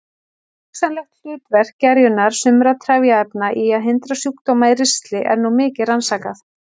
Hugsanlegt hlutverk gerjunar sumra trefjaefna í að hindra sjúkdóma í ristli er nú mikið rannsakað.